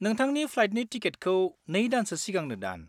नोंथांनि फ्लाइटनि टिकेटखौ नै दानसो सिगांनो दान।